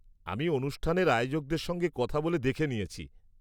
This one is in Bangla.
আমি অনুষ্ঠানের আয়োজকদের সঙ্গে কথা বলে দেখে নিয়েছি।